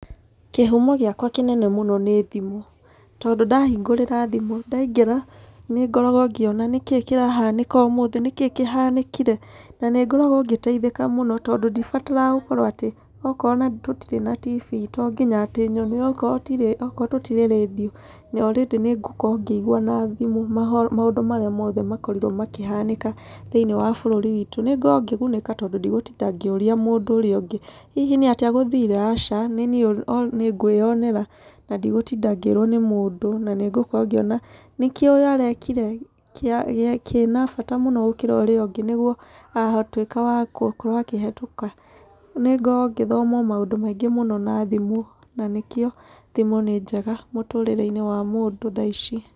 Kĩhumo gĩakwa kĩnene mũno nĩ thimũ. Tondũ ndahingũrĩra thimũ, ndaingĩra nĩ ngoragwo ngĩona, nĩkĩ kĩrahanĩka ũmũthĩ? Nĩkĩ kĩhanĩkire? Na nĩ ngoragwo ngĩteithĩka mũno tondũ ndibataraga gũkorwo atĩ okorwo ona tũtirĩ na tibii to nginya atĩ nyone. Okorwo tũtirĩ okorwo tũtirĩ rĩ already nĩ ngũkorwo ngĩigua na thimũ maũndũ marĩa mothe makorirwo makĩhanĩka thĩiniĩ wa bũrũri witũ. Nĩ ngoragwo ngĩgunĩka tondũ ndigũtinda ngĩũria mũndũ ũrĩa ũngĩ, hihi nĩ atĩa gũthire? Aca, nĩniĩ nĩ ngwĩyonera na ndigũtinda ngĩrwo nĩ mũndũ, na nĩ ngũkorwo ngĩona, nĩkĩ ũyũ arekire kĩa kĩna bata gũkĩra ũrĩa ũngĩ nĩguo aratuĩka gũkorwo akĩhetũka? Nĩ ngoragwo o ngĩthoma maũndũ maingĩ mũno na thimũ. Na nĩkĩo thimũ nĩ njega mũtũrĩre-inĩ wa mũndũ thaa ici.